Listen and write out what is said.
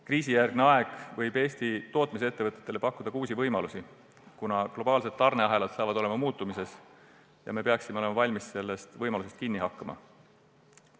Kriisijärgne aeg võib Eesti tootmisettevõtetele pakkuda uusi võimalusi, kuna globaalsed tarneahelad hakkavad muutuma ja me peame olema valmis sellest võimalusest kinni haarama.